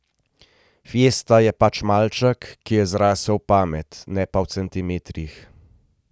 Fiesta je pač malček, ki je zrasel v pamet, ne pa v centimetrih.